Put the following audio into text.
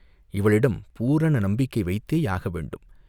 இவளிடம் பூரண நம்பிக்கை வைத்தேயாக வேண்டும்.